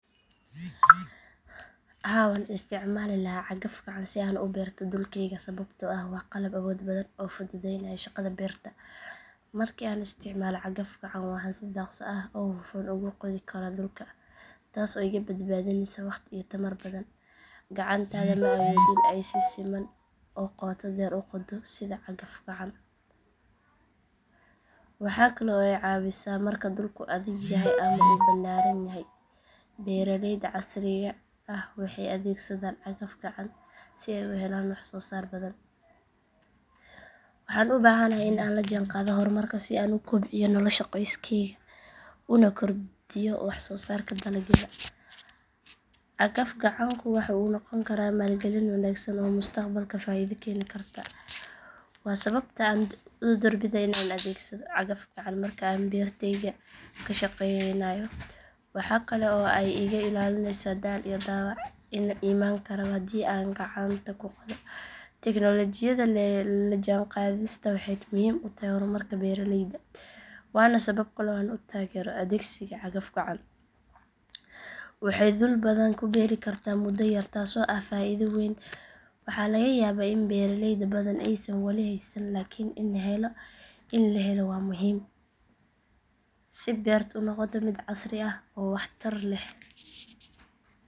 Haa waan isticmaali lahaa cagaf-gacan si aan u beerato dhulkayga sababtoo ah waa qalab awood badan oo fududaynaya shaqada beerta. Markii aan isticmaalo cagaf-gacan waxaan si dhakhso ah oo hufan ugu qodi karaa dhulka, taas oo iga badbaadinaysa waqti iyo tamar badan. Gacantaada ma awoodo in ay si siman oo qoto dheer u qoddo sida cagaf-gacan. Waxa kale oo ay caawisaa marka dhulku adag yahay ama uu balaaran yahay. Beeralayda casriga ah waxay adeegsadaan cagaf-gacan si ay u helaan waxsoosaar badan. Waxaan u baahanahay in aan la jaanqaado horumarka si aan u kobciyo nolosha qoyskayga una kordhiyo waxsoosaarka dalagyada. Cagaf-gacanku waxa uu noqon karaa maalgalin wanaagsan oo mustaqbalka faa’iido keeni karta. Waa sababta aan doorbidayo in aan adeegsado cagaf-gacan marka aan beertayga ka shaqaynayo. Waxaa kale oo ay iga ilaalinaysaa daal iyo dhaawac iman kara haddii aan gacanta ku qodo. Teknoolajiyada la jaanqaadista waxay muhiim u tahay horumarka beeralayda waana sabab kale oo aan u taageerayo adeegsiga cagaf-gacan. Waxay dhul badan ku beeri kartaa muddo yar taasoo ah faa’iido weyn. Waxaa laga yaabaa in beeralay badan aysan wali haysan laakiin in la hello waa muhiim si beertu u noqoto mid casri ah oo wax tar leh.